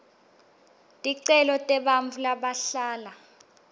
ticelo tebantfu labahlala